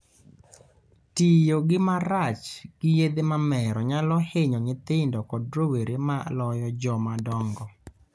Tiyo gi marach gi yedhe mamero nyalo hinyo nyithindo kod rowere moloyo joma dongo